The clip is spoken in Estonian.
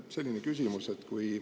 Selline küsimus.